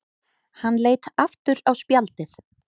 Hann leit aftur á spjaldið.